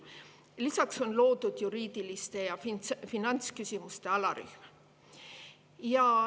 Lisaks on loodud juriidiliste ja finantsküsimuste alarühm.